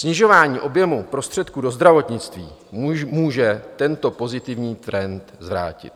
Snižování objemu prostředků do zdravotnictví může tento pozitivní trend zvrátit.